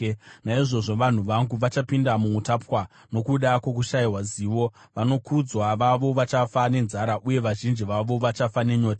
Naizvozvo vanhu vangu vachapinda muutapwa, nokuda kwokushayiwa zivo; vanokudzwa vavo vachafa nenzara, uye vazhinji vavo vachafa nenyota.